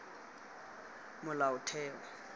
molaotheo